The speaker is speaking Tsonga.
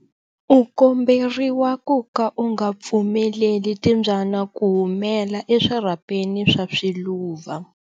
U komberiwa ku ka u nga pfumeleli timbyana ku humela eswirhapeni swa swiluva.